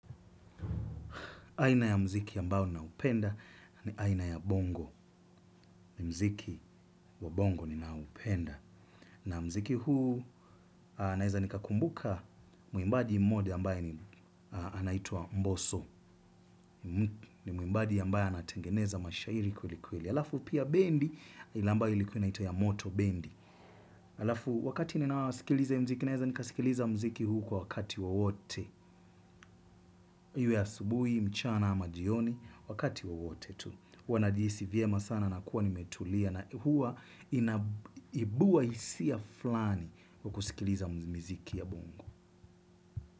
Aina ya mziki ambao ninaupenda ni aina ya bongo ni mziki wa bongo ni naupenda. Na mziki huu naeza nikakumbuka muimbaji mmoja ambaye anaitwa mboso. Ni muimbaji ambaye anatengeneza mashairi kwelikweli. Alafu pia bendi ile ambayo ilikuwa inaitwa ya moto bendi. Alafu wakati ninawasikiliza mziki naeza nikasikiliza mziki huu kwa wakati wowote. Iwe ya asubuhi, mchana ama jioni wakati wowote tu. Huwa najihisi vyema sana na kuwa nimetulia na huwa inabua hisia fulani kwa kusikiliza miziki ya bongo.